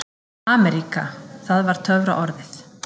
AMERÍKA það var töfraorðið.